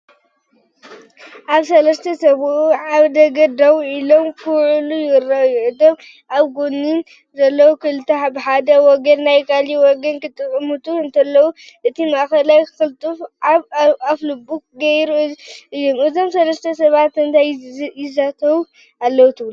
ኣብዚ ሰለስተ ሰብኡት ኣብ ደገ ደው ኢሎም ክዕልሉ ይረኣዩ። እቶም ኣብ ጎድኒ ዘለዉ ክልተ ብሓደ ወገን ናብቲ ካልእ ወገን ክጥምቱ እንከለዉ፡ እቲ ማእከላይ ቅልጽሙ ኣብ ኣፍልቡ ገይሩ ኣሎ። እዞም ሰለስተ ሰባት እንታይ ይዛተዩ ኣለዉ ትብሉ?